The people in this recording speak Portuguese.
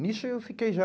Nisso eu fiquei já.